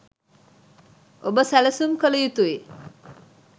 ඔබ සැලසුම් කල යුතුයි.